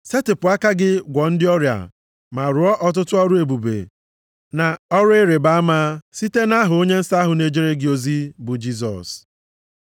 Setịpụ aka gị gwọọ ndị ọrịa ma rụọ ọtụtụ ọrụ ebube na ọrụ ịrịbama site nʼaha onye nsọ ahụ na-ejere gị ozi bụ Jisọs.”